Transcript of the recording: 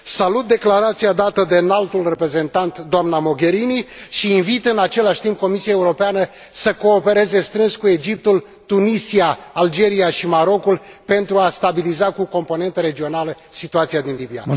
Salut declarația dată de Înaltul Reprezentant, doamna Mogherini, și invit în același timp Comisia Europeană să coopereze strâns cu Egiptul, Tunisia, Algeria și Marocul pentru a stabiliza, la nivel regional, situația din Libia.